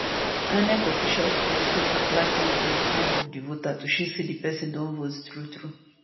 inec officials go also apply ink on di thumb of di voter to show say di pesin don vote truetrue